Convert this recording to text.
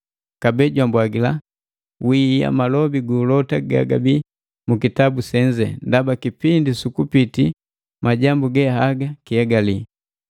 Kabee jwambwagila, “Wiia malobi guulota gagabi mu kitabu senze, ndaba kipindi sukupiti majambu ge haga kihegali.